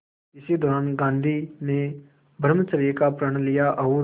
इसी दौरान गांधी ने ब्रह्मचर्य का प्रण लिया और